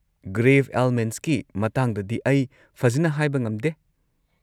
Grave ꯑꯦꯜꯃꯦꯟꯠꯁꯀꯤ ꯃꯇꯥꯡꯗꯗꯤ ꯑꯩ ꯐꯖꯅ ꯍꯥꯏꯕ ꯉꯝꯗꯦ꯫